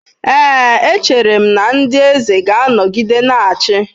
Ee, echere m na ndị eze ga-anọgide na-achị.